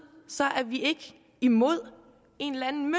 er vi ikke imod en eller anden